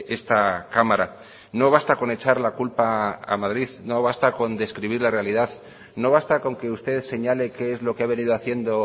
esta cámara no basta con echar la culpa a madrid no basta con describir la realidad no basta con que usted señale qué es lo que ha venido haciendo